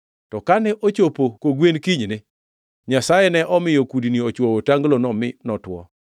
To kane ochopo kogwen kinyne, Nyasaye ne omiyo kudni ochwoyo otanglono, mi notwo.